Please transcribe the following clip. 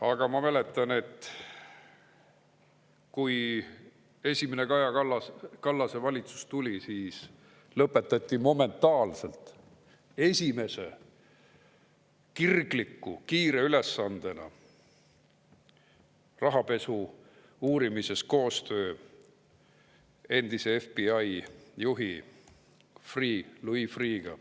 Aga ma mäletan, et kui esimene Kaja Kallase valitsus tuli, siis lõpetati momentaalselt esimese kirgliku kiire ülesandena rahapesu uurimises koostöö endise FBI juhi Louis Freeh’ga.